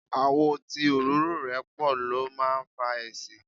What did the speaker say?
Àwọ̀ tí òróró rẹ̀ pọ̀ ló máa ń fa èéṣí.